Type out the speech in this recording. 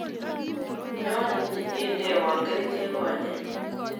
Nyo nyindenawa kerichek konyek.